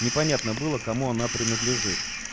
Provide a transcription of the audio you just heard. непонятно было кому она принадлежит